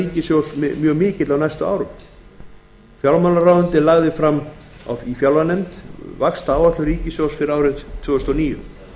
ríkissjóðs mjög mikill á næstu árum fjármálaráðuneytið lagði fyrir fjárlaganefnd vaxtaáætlun ríkissjóðs fyrir árið tvö þúsund og níu